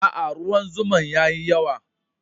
Aa, ruwan zuma'n yayi yawa.